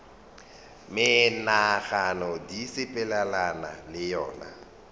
menagano di sepelelana le yona